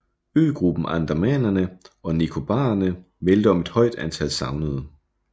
Øgruppen Andamanerne og Nikobarerne meldte om et højt antal savnede